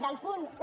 del punt un